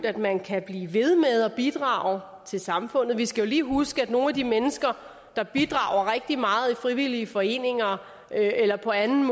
at man kan blive ved med at bidrage til samfundet vi skal lige huske at nogle af de mennesker der bidrager rigtig meget i frivillige foreninger eller på anden